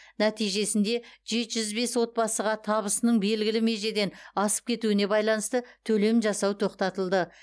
нәтижесінде жеті жүз бес отбасыға табысының белгілі межеден асып кетуіне байланысты төлем жасау тоқтатылды